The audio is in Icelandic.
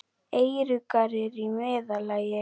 Eyruggar eru í meðallagi.